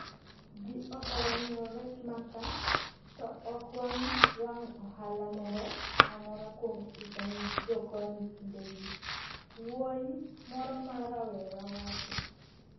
Ji ohero ng’iewo rech ma ka, to ok wanwang' ohala moro amora kuom uso ne jokoni kindegi, wuoyi moro ma rawera wacho.